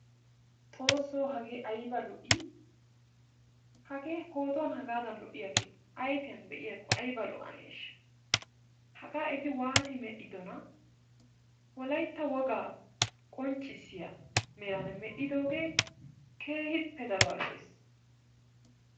Xoosso hagee ayba lo''ii? hagee pootuwan hagaadan lo''iyagee ayfiyan be'iyakko ayba lo''anee? hagaa eti waati medhdhidonaa. wolaytta wogaa qonccisiya meraa medhdhidoogee keehippe daruwa lo''ees.